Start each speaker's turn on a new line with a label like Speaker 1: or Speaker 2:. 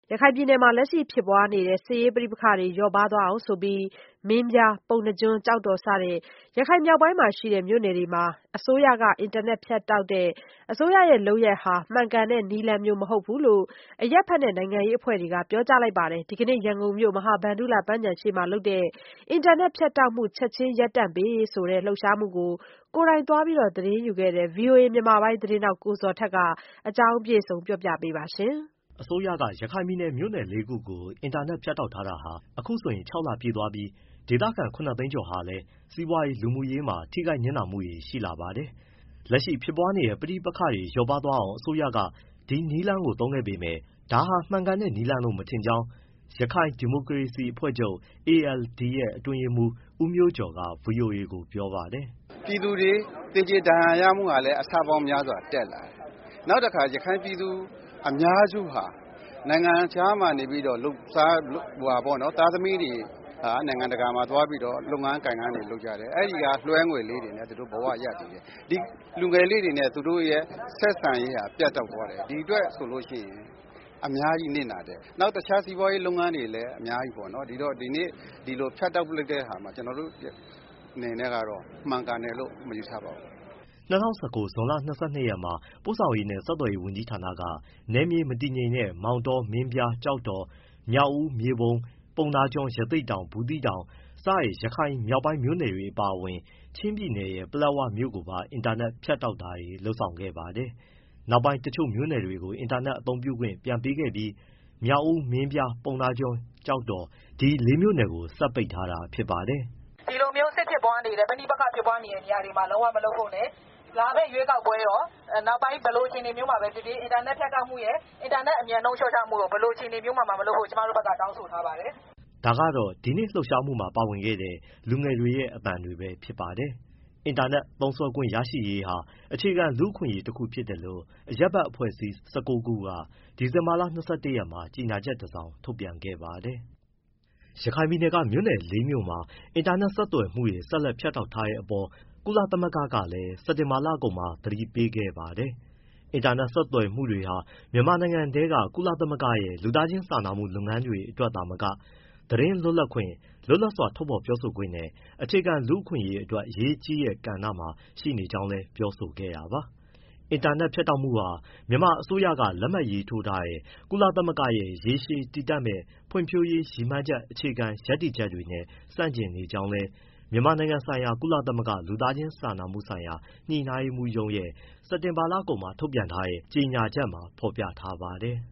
Speaker 1: ရခိုင်ပြည်နယ်မှာ လက်ရှိဖြစ်ပွားနေတဲ့ ပဋိပက္ခတွေ လျော့ပါးသွာားအောင် မင်းပြား၊ ပုဏ္ဏားကျွန်း၊ ကျောက်တော် စတဲ့ ရခိုင်မြောက်ပိုင်း မြို့နယ်လေးခု အတွက် အစိုးရက အင်တာနက်ဖြတ်တောက်တဲ့ အစိုးရရဲ့ လုပ်ဆောင်ချက်ဟာ မှန်ကန်တဲ့နည်းလမ်းမျိုး မဟုတ်ဘူးလို့ အရပ်ဘက်နဲ့ နိုင်ငံရေးအဖွဲ့ တွေ့က ပြောကြားလိုက်ပါတယ်။ ဒီနေ့ ရန်ကုန်ုမြို့ မဟာဗန္ဓုလပန်းခြံရှေ့မှာလုပ်တဲ့ အင်တာနက်ဖြတ်တောက်မှု ချက်ချင်းရပ်တန့်ပေးရေးဆိုတဲ့ လှုပ်ရှားမှုကို သွားရောက် သတင်းယူခဲ့တဲ့ ဗွီအိုအေ မြန်မာပိုင်းသတင်းထောက် ကိုဇော်ထက်က ဒီအကြောင်း အပြည့်အစုံကို ပြောပြပေးမှာပါ။
Speaker 2: အစိုးရက ရခိုင်ပြည်နယ် မြို့နယ် ၄ခုကို အင်တာနက်ဖြတ်တောက် ထားတာဟာ အခုဆိုရင် ၆လပြည့်သွားပြီး ဒေသခံ ၇သိန်းကျော်ဟာလည်း စီးပွားရေး၊ လူမှုရေးမှာ ထိခိုက်နစ်နာမှုတွေ ရှိလာပါတယ်။ လက်ရှိဖြစ်ပွားနေတဲ့ ပဋိပက္ခတွေလျော့ပါးသွားအောင် အစိုးရက ဒီနည်းလမ်းကိုသုံးခဲ့ပေမဲ့ ဒါက မှန်ကန်တဲ့ နည်းလမ်းလို့ မထင်ကြောင်း ရခိုင်ဒီမိုကရေစီအဖွဲ့ချုပ် ALD ရဲ့ အတွင်းရေးမှူး ဦးမျိုးကျော်က ဗွီအိုအေကိုပြောပါတယ်
Speaker 3: ။ “ ပြည်သူတွေ သေကြေ၊ ဒဏ်ရာရမှုဟာလည်း အဆပေါင်း များစွာတက်လာတယ်။ ရခိုင်ပြည်သူ အများစုဟာ နိုင်ငံခြားကနေ သားသမီးတွေ နိုင်ငံတကာမှာ သွားပြီးတော့ လုပ်ငန်းတွေလုပ်ကြတယ်၊ အဲဒီက လွှဲငွေလေးတွေနဲ့ သူတို့ဘဝရပ်တည်တယ်။ ဒီလူငယ်လေးတွေနဲ့ သူတို့ရဲ့ ဆက်ဆံရေးဟာ ပြတ်တောက်သွားတယ်။ ဒီအတွက်ဆိုလို့ရှိရင် အများကြီးနစ်နာတယ်။ နောက်တခြားစီးပွားရေး လုပ်ငန်းတွေလည်း အများကြီးပေါ့နော်။ ဒါကြောင့် ဒီလို ဖြတ်တောက်လိုက်တာဟာ ကျနော်တို့ အနေနဲ့ကတော့ မှန်ကန်တယ်လို့ မယူဆပါဘူး။”
Speaker 2: ၂၀၁၉ ဇွန်လ ၂၂ရက်မှာ ပို့ဆောင်ရေးနှင့် ဆက်သွယ်ရေး ဝန်ကြီးဌာနက နယ်မြေမတည်ငြိမ်တဲ့ မောင်တော၊ မင်းပြား၊ ကျောက်တော်၊ မြောက်ဦး၊ မြေပုံ၊ ပုဏ္ဏားကျွန်း၊ ရသေ့တောင်၊ ဘူးသီးတောင် စတဲ့ရခိုင်မြောက်ပိုင်း မြို့နယ်တွေအပါအဝင် ချင်းပြည်နယ်ရဲ့ ပလက်ဝမြို့ကိုပါ အင်တာနက် ဖြတ်တောက်တာတွေ လုပ်ဆောင်ခဲ့ပါတယ်။ နောက်ပိုင်းမှာ တချို့မြို့နယ်တွေကို အင်တာနက် အသုံးပြုခွင့်ပြန်ပေးခဲ့ပြီး မြောက်ဦး၊ မင်းပြား၊ ပုဏ္ဏားကျွန်း၊ ကျောက်တော် ဒီလေးမြို့နယ်ကိုပဲ ဆက်ပိတ် ထားတာဖြစ်ပါတယ်။
Speaker 1: “ ဒီလိုမျိုး စစ်ဖြစ်ပွားနေတဲ့ ပဋိပက္ခဖြစ်ပွားနေတဲ့ နေရာတွေမှာ လုံးဝမလုပ်ဖို့နဲ့ လာမယ့်ရွေးကောက်ပွဲရော၊ နောက်ပိုင်းဘယ်လိုအခြေအနေမျိုးမှာပဲ ဖြစ်ဖြစ် အင်တာနက်ဖြတ်တောက်မှုရယ်၊ အင်တာနက်အမြန်နှုန်း လျှော့ချမှုရယ် ဘယ်လိုအခြေနေမျိုးမှာမှ မလုပ်ဖို့ ကျမတို့ တောင်းဆိုထားပါတယ်။
Speaker 2: ” ဒါကတော့ ဒီကနေ့ လှုပ်ရှားမှုမှာ ပါဝင်ခဲ့တဲ့ လူငယ်တွေရဲ့အသံတွေပဲဖြစ်ပါတယ်။ အင်တာနက်သုံးစွဲခွင့်ရရှိရေးဟာ အခြေခံ လူ့အခွင့်အရေးတခုဖြစ်တယ်လို့ အရပ်ဘက်အဖွဲ့အစည်း ၁၉ခုက ဒီဇင်ဘာက ၂၁ရက်မှာ ကြေညာချက်တစောင် ထုတ်ပြန်ခဲ့ပါတယ်။ ရခိုင်ပြည်နယ်က မြို့နယ် ၄ မြို့မှာ အင်တာနက် ဆက်သွယ်မှုတွေ ဆက်လက် ဖြတ်တောက်ထားတဲ့အပေါ် ကုလသမဂ္ဂကလည်း စက်တင်ဘာလကုန်မှာပဲ သတိပေးခဲ့ပါတယ်။ အင်တာနက် ဆက်သွယ်မှုတွေဟာ မြန်မာနိုင်ငံထဲက ကုလသမဂ္ဂရဲ့ လူသားချင်းစာနာမှု လုပ်ငန်းတွေအတွက် သာမက သတင်းလွတ်လပ်ခွင့်၊ လွတ်လပ်စွာ ထုတ်ဖော် ပြောဆိုခွင့်နဲ့ အခြေခံလူ့အခွင့်အရေးအတွက် အရေးကြီးတဲ့ ကဏ္ဍမှာ ရှိနေကြောင်းလည်း ပြောဆိုခဲ့တာပါ။ အင်တာနက် ဖြတ်တောက်မှုဟာ မြန်မာအစိုးရက လက်မှတ်ရေးထိုးထားတဲ့ ကုလသမဂ္ဂရဲ့ ရေရှည်တည်တံ့မယ့် ဖွံ့ဖြိုးရေး ရည်မှန်းချက် အခြေခံရပ်တည်ချက်တွေနဲ့ ဆန့်ကျင်နေကြောင်းလည်း မြန်မာနိုင်ငံဆိုင်ရာ ကုလသမဂ္ဂ လူသားချင်းစာနာမှုဆိုင်ရာ ညှိနှိုင်းရေးမှူးရုံးရဲ့ စက်တင်ဘာလကုန်မှာ ထုတ်ပြန်တဲ့ ကြေညာချက်မှာ ဖော်ပြထားပါတယ်။